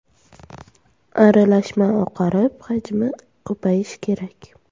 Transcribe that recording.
Aralashma oqarib, hajmi ko‘payishi kerak.